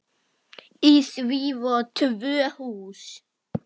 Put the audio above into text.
Í því voru tvö hús.